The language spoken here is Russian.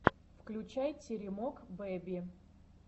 включай теремок бэби